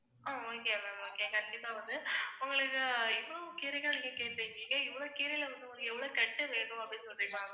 ஆஹ் okay ma'am okay கண்டிப்பா வந்து, உங்களுக்கு இவ்ளோ கீரைகள் நீங்க கேட்ருக்கீங்க இவ்ளோ கீரைல வந்து உங்களுக்கு எவ்ளோ கட்டு வேணும் அப்படின்னு சொல்றீங்களா ma'am